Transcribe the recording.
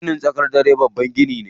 Ginin sakandari babban gini ne.